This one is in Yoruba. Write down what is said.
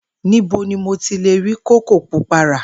Níbo ni mo ti lè rí kókò púpá ra?